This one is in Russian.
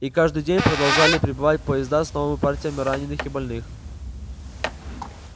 и каждый день продолжали прибывать поезда с новыми партиями раненых и больных